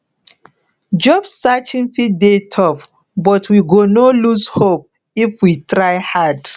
job searching fit dey tough but we go no lose hope if we try hard